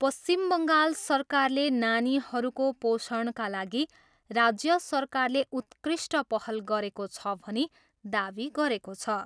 पश्चिम बङ्गाल सरकारले नानीहरूको पोषणका लागि राज्य सरकारले उत्कृष्ट पहल गरेको छ भनी दावी गरेको छ।